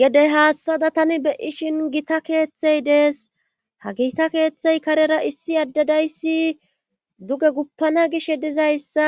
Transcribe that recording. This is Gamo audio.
gedey haassada tani beyishin gita keeththey dees ha gita keeththey karera issi addadayssi duge guppana gish he dizayssa